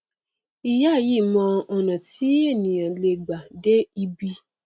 ìyá yìí mọ ọnà tí ènìà lè gbà dé ibi